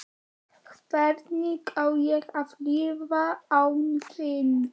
Hvernig á ég að lifa án þín?